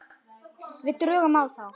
Við drögum á þá.